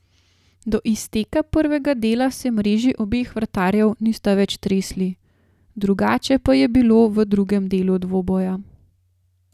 Do izteka prvega dela se mreži obeh vratarjev nista več tresli, drugače pa je bilo v drugem delu dvoboja.